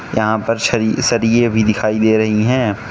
यहां पर छरि सरीये भी दिखाई दे रही हैं।